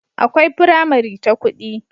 akwai pramari ta kudi